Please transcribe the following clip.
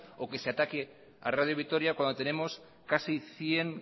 o que se ataque a radio vitoria cuando tenemos casi cien